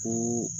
Ko